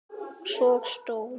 Áróra Hlín.